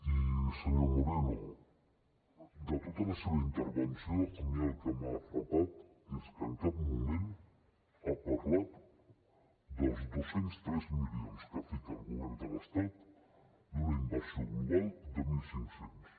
i senyor moreno de tota la seva intervenció a mi el que m’ha frapat és que en cap moment ha parlat dels dos cents i tres milions que fica el govern de l’estat d’una inversió global de mil cinc cents